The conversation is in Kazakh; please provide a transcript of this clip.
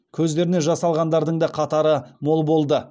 көздеріне жас алғандардың да қатары мол болды